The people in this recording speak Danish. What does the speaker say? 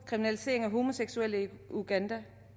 kriminaliseringen af homoseksuelle i uganda